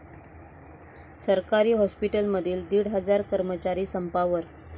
सरकारी हॉस्पिटलमधील दीड हजार कर्मचारी संपावर